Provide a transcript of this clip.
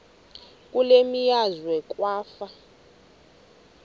kule meazwe kwafa